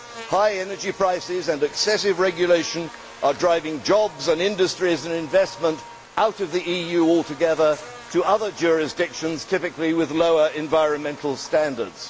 High energy prices and excessive regulation are driving jobs, industries and investment out of the EU altogether to other jurisdictions, typically with lower environmental standards.